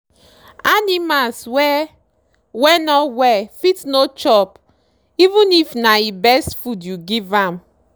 animals wey wey no well fit no chopeven if na he best food you give am.